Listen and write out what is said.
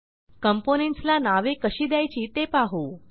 components ला नावे कशी द्यायची ते पाहू